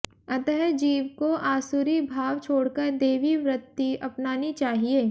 अतः जीव को आसुरी भाव छोड़कर दैवी वृत्ति अपनानी चाहिए